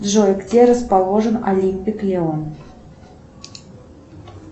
джой где расположен олимпик лион